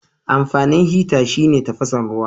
Amfanin hita shine tafasan ruwa.